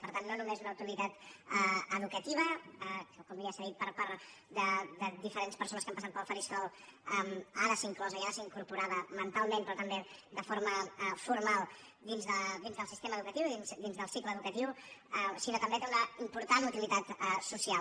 per tant no només una utilitat educativa com ja s’ha dit per part de diferents persones que han passat pel faristol i ha de ser inclosa i ha de ser incorporada mentalment però també de forma formal dins del sistema educatiu i dins del cicle educatiu sinó que també té una important utilitat social